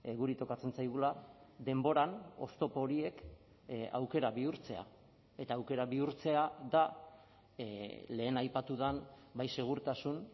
guri tokatzen zaigula denboran oztopo horiek aukera bihurtzea eta aukera bihurtzea da lehen aipatu den bai segurtasun